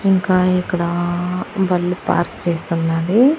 ఇంకా ఇక్కడ బల్లు పార్క్ చేస్తున్నాది.